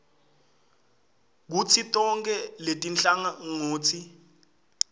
kutsi tonkhe letinhlangotsi